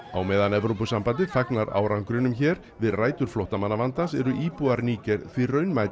á meðan Evrópusambandið fagnar árangrinum hér við rætur flóttamannavandans eru íbúar Níger því